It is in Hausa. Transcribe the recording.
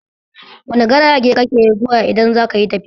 Wani garage kake zuwa idan zakayi tafiya?